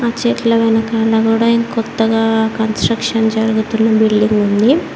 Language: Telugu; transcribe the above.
చెట్ల వెనకాల కూడా ఇంకొత్తగా కన్స్ట్రక్షన్ జరుగుతున్న బిల్డింగ్ ఉంది.